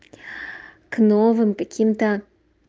к новым каким-то